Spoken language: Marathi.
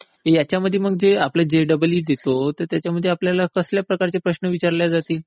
याच्यामध्ये म्हणजे जेईई देतो तर त्याच्यामध्ये आपल्या कसल्या प्रकारचे प्रश्न विचारले जातील?